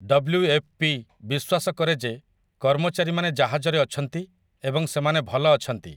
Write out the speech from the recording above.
WFP ବିଶ୍ୱାସ କରେ ଯେ କର୍ମଚାରୀମାନେ ଜାହାଜରେ ଅଛନ୍ତି ଏବଂ ସେମାନେ 'ଭଲ' ଅଛନ୍ତି ।